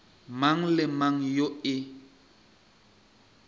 mang le mang yo e